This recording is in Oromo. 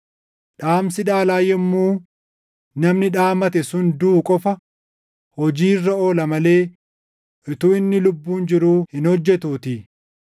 dhaamsi dhaalaa yommuu namni dhaamate sun duʼu qofa hojii irra oola malee utuu inni lubbuun jiruu hin hojjetuutii.